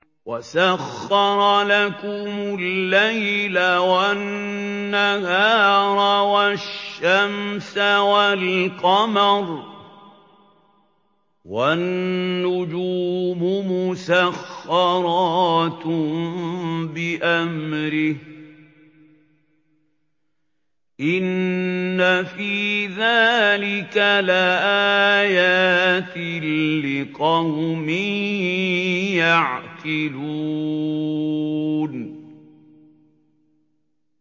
وَسَخَّرَ لَكُمُ اللَّيْلَ وَالنَّهَارَ وَالشَّمْسَ وَالْقَمَرَ ۖ وَالنُّجُومُ مُسَخَّرَاتٌ بِأَمْرِهِ ۗ إِنَّ فِي ذَٰلِكَ لَآيَاتٍ لِّقَوْمٍ يَعْقِلُونَ